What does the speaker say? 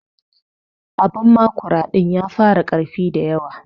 Abun makura din ya fara karfi da yawa.